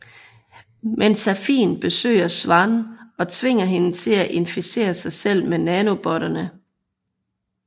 Men Safin besøger Swann og tvinger hende til at inficere sig selv med nanobotterne